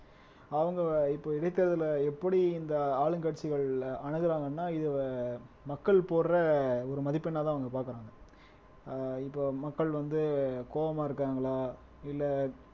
அவங்க இப்ப இடைத்தேர்தலை எப்படி இந்த ஆளுங்கட்சிகள் அனுகுறாங்கன்னா இது மக்கள் போடுற ஒரு மதிப்பெண்ணா தான் அவங்க பாக்குறாங்க ஆஹ் இப்ப மக்கள் வந்து கோவமா இருக்காங்களா இல்ல